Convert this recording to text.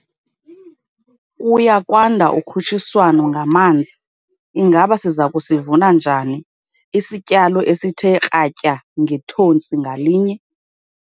Kuya kwanda ukhutshiswano ngamanzi - ingaba siza kusivuna njani 'isityalo esithe kratya ngethontsi ngalinye'?